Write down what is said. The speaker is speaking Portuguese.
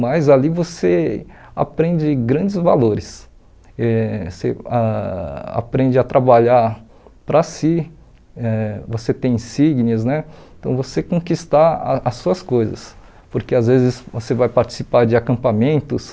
mas ali você aprende grandes valores, eh você ah aprende a trabalhar para si, eh você insígnias né, então você conquistar a as suas coisas, porque às vezes você vai participar de acampamentos,